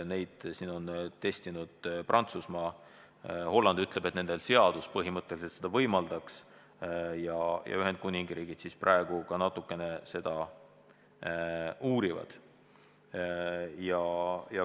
Neid võimalusi on testinud Prantsusmaa ja Holland ütleb, et nende seadus põhimõtteliselt seda võimaldaks, ja Ühendkuningriik ka natukene seda uurib.